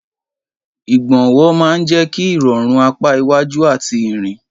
Ìgbọ̀nwọ́ máa ń jẹ́ kí ìrọ̀rùn apá iwájú àti ìrìn.